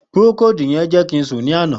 Procold yẹn jẹ ki n sun ni ana.